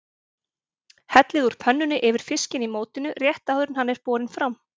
Hellið úr pönnunni yfir fiskinn í mótinu rétt áður en hann er borinn fram.